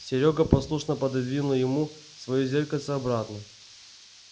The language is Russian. серёга послушно пододвинул ему своё зеркальце обратно